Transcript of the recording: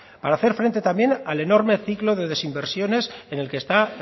para hacer frente también al enorme ciclo de desinversiones en el que está